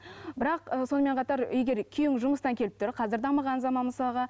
бірақ і сонымен қатар егер күйеуің жұмыстан келіп тұр қазір дамыған заман мысалға